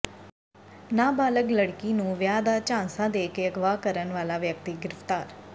ਨਾਬਾਲਗ ਲੜਕੀ ਨੂੰ ਵਿਆਹ ਦਾ ਝਾਂਸਾ ਦੇ ਕੇ ਅਗਵਾ ਕਰਨ ਵਾਲਾ ਵਿਅਕਤੀ ਗਿ੍ਫਤਾਰ